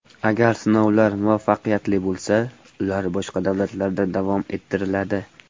Agar sinovlar muvaffaqiyatli bo‘lsa, ular boshqa davlatlarda davom ettiriladi.